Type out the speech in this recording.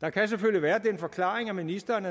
der kan selvfølgelig være den forklaring at ministeren